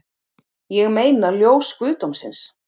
Ég meina ljós guðdómsins